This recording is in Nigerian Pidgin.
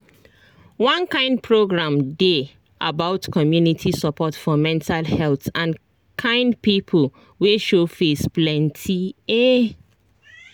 one kind program dey about community support for mental health and kind people wey show face plenty ehh